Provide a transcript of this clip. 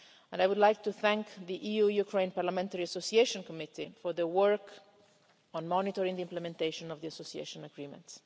I would like to thank the EU Ukraine Parliamentary Association Committee for its work on monitoring the implementation of the Association Agreement.